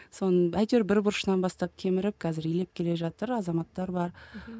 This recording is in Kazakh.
соның әйтеу бір бұрышынан бастап кеміріп қазір илеп келе жатыр азаматтар бар мхм